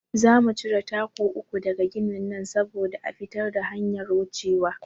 Za mu cire taku uku daga ginin nan saboda a fitar da hanyar wucewa.